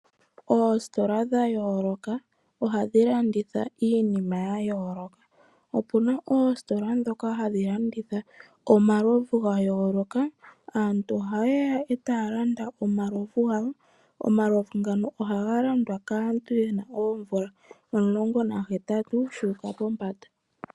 Oositola dha yooloka ohadhi landitha iinima ya yooloka. Opu na oositola ndhoka hadhi landitha omalovu ga yooloka. Aantu ohaye ya e taya landa omalovu gawo. Omalovu ngano ohaga landwa kaantu ye na oomvula omulongo nahetatu shu uka pombanda.